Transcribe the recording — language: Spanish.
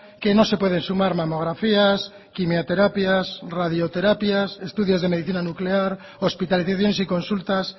que no se pueden sumar mamografías quimioterapias radioterapias estudios de medicina nuclear hospitalizaciones y consultas